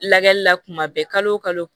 Lagɛli la kuma bɛɛ kalo o kalo